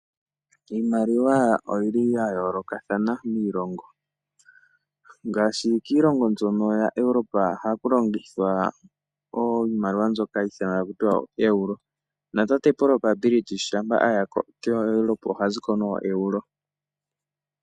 Iimaliwa oyili ya yolokathana kiilongo. Ngaashi kiilongo mbyono ya Europe ohaku longithwa iimaliwa mbyoka hayi ithanwa kutya oeuro. Natate Proprobility shampa aya ko oha ziko noeuro.